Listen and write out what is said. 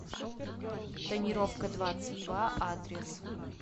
тонировкадвадцатьдва адрес